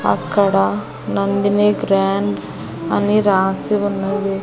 అక్కడ నందిని గ్రాండ్ అని రాసి ఉన్నది.